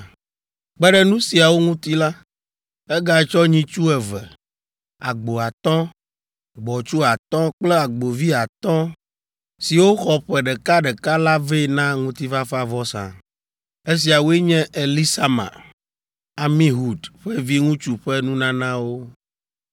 Kpe ɖe nu siawo ŋuti la, egatsɔ nyitsu eve, agbo atɔ̃, gbɔ̃tsu atɔ̃ kple agbovi atɔ̃ siwo xɔ ƒe ɖeka ɖeka la vɛ na ŋutifafavɔsa. Esiawoe nye Elisama, Amihud ƒe viŋutsu ƒe nunanawo.